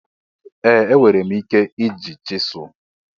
Ee! Enwere m ike iji chisel.